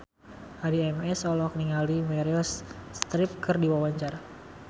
Addie MS olohok ningali Meryl Streep keur diwawancara